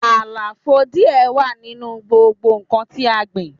Àlàfo díẹ̀ wà nínú gbogbo nnkan tí a gbìn